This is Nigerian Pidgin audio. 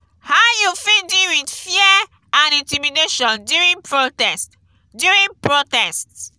how you fit deal with fear and intimidation during protest? during protest?